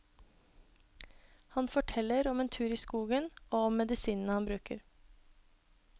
Han forteller om en tur i skogen og om medisinene han bruker.